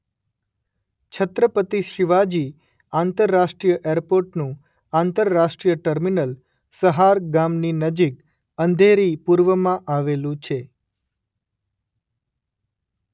છત્રપતિ શિવાજી આંતરરાષ્ટ્રીય એરપોર્ટનું આંતરરાષ્ટ્રીય ટર્મિનલ સહાર ગામની નજીક અંધેરી પૂર્વમાં આવેલું છે.